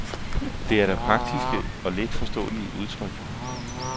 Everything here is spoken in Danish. Det er da praktiske og let forståelige udtryk.